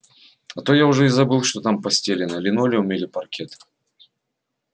а то я уже и забыл что там постелено линолеум или паркет